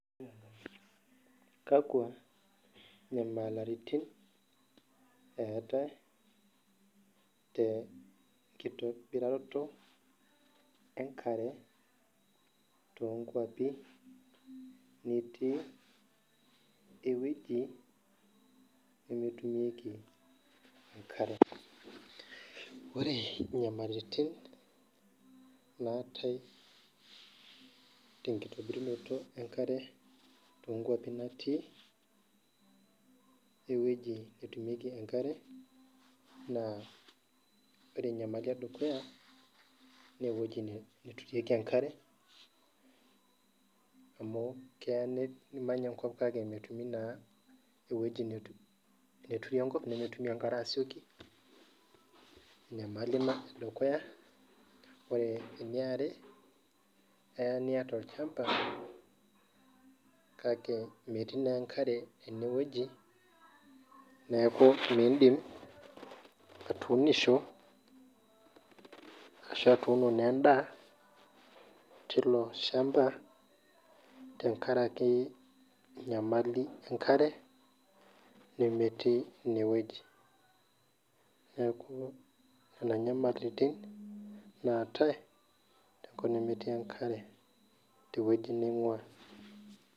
Kakwa nyamalitin eetae tnkitobiraro enkare tonkeapi nitii ewueji nemetumieki enkare ore nyamalitin naatae tenkitobirunoto enkare tonkwapi natii ewueji etumieki enkare na ore nyamalitin edukuya na keya nimany enkop ninepu ewoi naturu enkop nemetii enkare asioki enyamali ina edukuya ore eniare keya nita olchamba kake metii enkare enewueji neaku minfmdim atuuno endaa tilo shamba tenkaraki enyamali enkare nemetii inewueji neaku nona nyamalitin naatae tenkop nemetii enkare tewoi naingua.